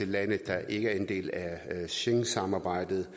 lande der ikke er en del af schengensamarbejdet